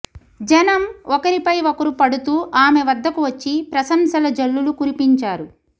జనం ఒకరిపై ఒకరు పడుతూ ఆమె వద్దకు వచ్చి ప్రశంసల జల్లులు కురిపించారు